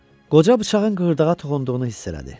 Qoca bıçağın qığırdağa toxunduğunu hiss elədi.